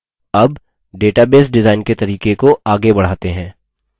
अब database design के तरीके को आगे बढ़ाते हैं